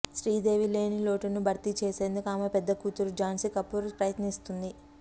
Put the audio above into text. శ్రీదేవి లేని లోటును భర్తీ చేసేందుకు ఆమె పెద్ద కూతురు జాన్సీ కపూర్ ప్రయత్నిస్తుంది